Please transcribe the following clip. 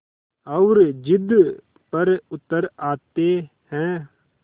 और ज़िद पर उतर आते हैं